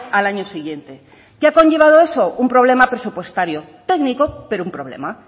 al año siguiente qué ha conllevado eso un problema presupuestario técnico pero un problema